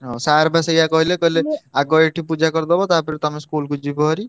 ହଁ sir ବା ସେୟା କହିଲେ କହିଲେ ଆଗ ଏଇଠି ପୂଜା କରିଦବ ତାପରେ ତମେ school କୁ ଯିବ ଭାରି।